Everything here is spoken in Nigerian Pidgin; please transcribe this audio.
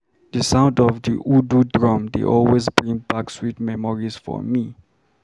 The sound of the udu drum dey always bring back sweet memories for me.